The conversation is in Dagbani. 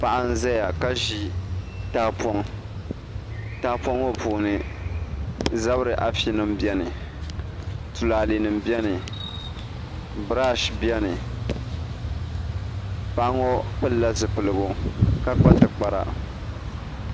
Paɣa n ʒɛya ka ʒi tahapoŋ tahapoŋ ŋo puuni zabiri afi nim biɛni tulaalɛ nim biɛni birash biɛni paɣa ŋo pilila zipiligu ka kpa tikpara